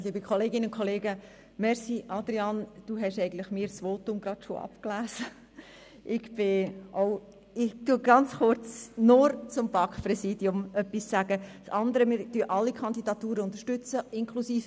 Ich komme zur Bekanntgabe der Resultate der Wahl des ersten und zweiten Vizepräsidenten des Grossen Rats, des Präsidenten des Regierungsrats, des Vizepräsidenten des Regierungsrats, des Generalsekretärs und des Staatsschreibers.